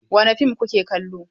Wani fim ku ke kallo?